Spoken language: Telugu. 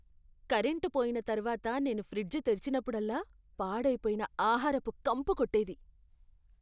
కరెంటు పోయిన తర్వాత నేను ఫ్రిడ్జ్ తెరిచినప్పుడల్లా, పాడైపోయిన ఆహారపు కంపు కొట్టేది.